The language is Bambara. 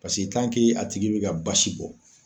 Paseke a tigi bɛ ka basi bɔ.